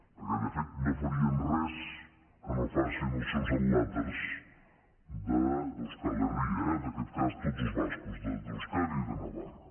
perquè de fet no farien res que no facin els seus adlàters d’euskal herria eh en aquest cas tots els bascos d’euskadi i de navarra